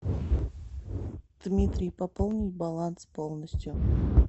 дмитрий пополнить баланс полностью